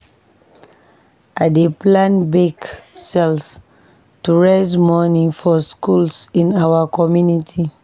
We dey plan bake sales to raise money for schools in our community.